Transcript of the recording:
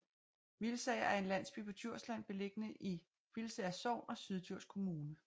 Hvilsager er en landsby på Djursland beliggende i Hvilsager Sogn og Syddjurs Kommune